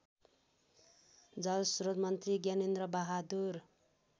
जलस्रोत मन्त्री ज्ञानेन्द्रबहादुर